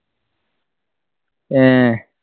അഹ്